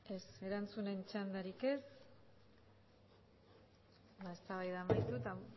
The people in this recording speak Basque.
ez erantzunen txandarik ez ba eztabaida amaituta